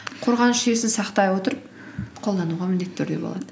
қорғаныс жүйесін сақтай отырып қолдануға міндетті түрде болады